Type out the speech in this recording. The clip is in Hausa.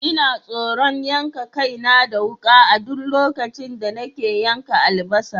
Ina tsoron yanka kaina da wuka a duk lokacin da nake yanka albasa.